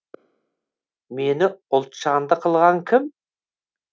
мені ұлт жанды қылған кім